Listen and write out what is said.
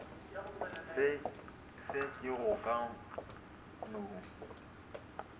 se ke go ka no